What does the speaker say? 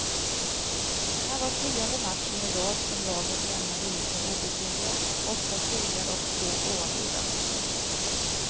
Det här var tionde matchen i rad som laget lämnade isen obesegrat, åtta segrar och två oavgjorda.